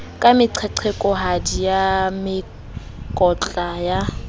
ka meqeqekohadi ya mekotla ya